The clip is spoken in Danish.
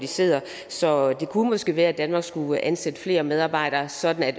siddende så det kunne måske være at danmark skulle ansætte flere medarbejdere sådan at